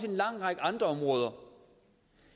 en lang række andre områder